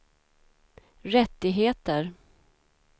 rättigheter